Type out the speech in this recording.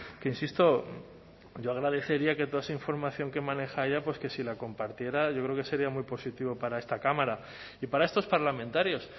que insisto yo agradecería que toda esa información que maneja ella pues que si la compartiera yo creo que sería muy positivo para esta cámara y para estos parlamentarios